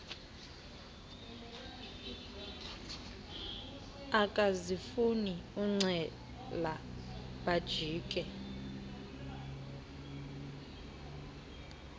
akazifuni ucela bajike